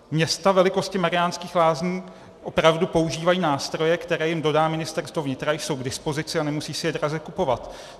Města velikosti Mariánských Lázní opravdu používají nástroje, které jim dodá Ministerstvo vnitra, jsou k dispozici a nemusí si je draze kupovat.